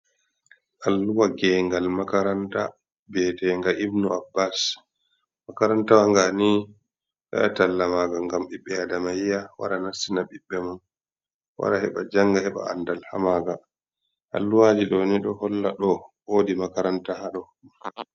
Alluha geyngal makaranta, bi'eteenga Ibnu Abbas. makarantawa ngaa nii ɓe ɗo waɗa talla maaga, ngam ɓiɓɓe aadama yi'a wara nastina ɓiɓɓe mum. Wara heɓa jannga, heɓa anndal ha maaga. Alluha ɗoo ni, ɗo holla ɗoo, woodi makaranta ha ɗoo.